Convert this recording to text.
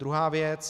Druhá věc.